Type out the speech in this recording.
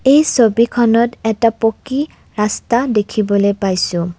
এই ছবিখনত এটা পকী ৰাস্তা দেখিবলৈ পাইছোঁ।